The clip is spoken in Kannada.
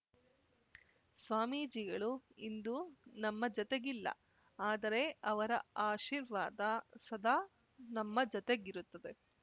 ಸ್ವಾಮೀಜಿಗಳು ಇಂದು ನಮ್ಮ ಜತೆಗಿಲ್ಲ ಆದರೆ ಅವರ ಆಶೀರ್ವಾದ ಸದಾ ನಮ್ಮ ಜತೆಗಿರುತ್ತದೆ